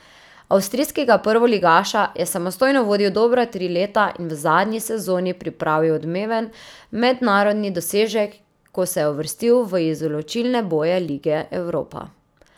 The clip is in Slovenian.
Avstrijskega prvoligaša je samostojno vodil dobra tri leta in v zadnji sezoni pripravil odmeven mednarodni dosežek, ko se je uvrstil v izločilne boje lige Evropa.